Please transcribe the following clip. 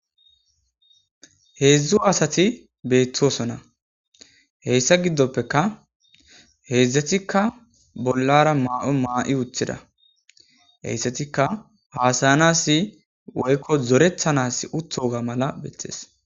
heedzdzu asati beettosona heyssa giddoppeka heedzdzetikka bollara maa7o maa7i uthida heyssetikka haasayanas woykko zorethanas uthoga mala bettees